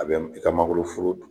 A bɛ i ka mangoroforo